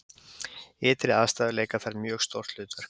ytri aðstæður leika þar mjög stórt hlutverk